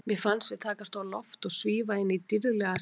Mér fannst við takast á loft og svífa inn í dýrðlega sýn.